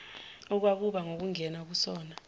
okwakuba ngukungena kusona